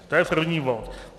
To je první bod.